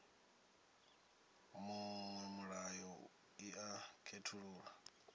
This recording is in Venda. miṅwe miṱa i a khethululwa